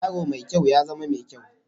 Yaro mai kyau, ya zama mai kyau